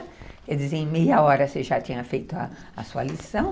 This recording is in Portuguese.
Quer dizer, em meia hora você já tinha feito a sua lição.